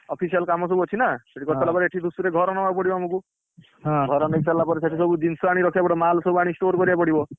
Official କାମ ସବୁ ଅଛି ନା ହଁ, ସେଠି କରିସାରିଲେ ପରେ ଏଠି ଧୂଷୁରୀରେ ଘର ନବାକୁ ପଡିବ ଆମକୁ, ଘର ମିଳିସାଇଲେ ପରେ ସେଠିସବୁ ଜିନିଷ ଆଣି ରଖିଆକୁ ପଡିବ ମାଲ ସବୁ ଆଣି store କରିଆକୁ ପଡିବ।